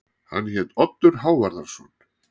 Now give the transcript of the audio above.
Hann hét Oddur Hávarðarson.